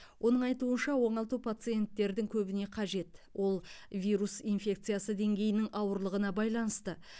оның айтуынша оңалту пациенттердің көбіне қажет ол вирус инфекциясы деңгейінің ауырлығына байланысты